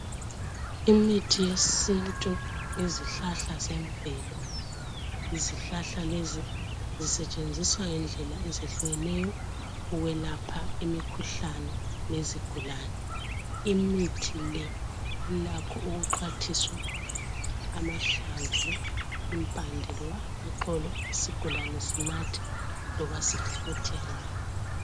Imithi yesintu yezihlahla zemvelo. Izihlahla lezi zisetshenziswa ngendlela ezehlukeneyo ukwelapha imikhuhlane yezigulane. Imithi le ilakho ukuxhwathiswa amahlamvu, impande loba amaxolo isigulane sinathe loba sifuthe ngayo.